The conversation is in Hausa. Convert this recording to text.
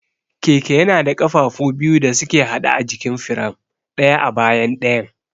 Keke yana da ƙafafu biyu da suke haɗe a jikin firam, ɗaya a bayan ɗayan.